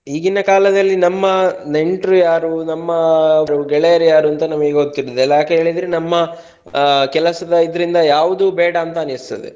ಈಗಿನ ಕಾಲದಲ್ಲಿ ನಮ್ಮ ನೆಂಟ್ರು ಯಾರು ನಮ್ಮ ಗೆಳೆಯರೂ ಯಾರು ಅಂತ ಗೊತ್ತಿರುದಿಲ್ಲ. ಯಾಕಂದ್ರೆ ನಮ್ಮ ಕೆಲಸದ ಇದರಿಂದ ಯಾವುದು ಬೇಡ ಅಂತ ಅನಿಸ್ತದೆ.